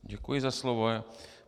Děkuji za slovo.